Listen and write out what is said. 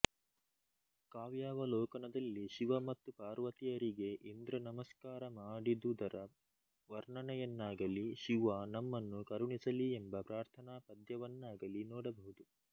ಕಾವ್ಯಾವಲೋಕನದಲ್ಲಿ ಶಿವ ಮತ್ತು ಪಾರ್ವತಿಯರಿಗೆ ಇಂದ್ರ ನಮಸ್ಕಾರ ಮಾಡಿದುದರ ವರ್ಣನೆಯನ್ನಾಗಲಿ ಶಿವ ನಮ್ಮನ್ನು ಕರುಣಿಸಲಿ ಎಂಬ ಪ್ರಾರ್ಥನಾ ಪದ್ಯವನ್ನಾಗಲಿ ನೋಡಬಹುದು